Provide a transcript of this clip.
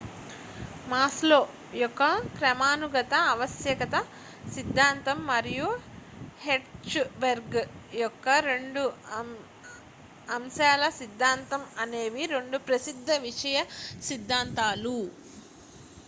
maslow యొక్క క్రమానుగత ఆవశ్యక్త సిద్ధాంతం మరియు hertzberg యొక్క 2 అంశాల సిద్ధాంతం అనేవి 2 ప్రసిద్ధ విషయ సిద్ధాంతాలు